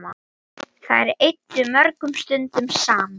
Þær eyddu mörgum stundum saman.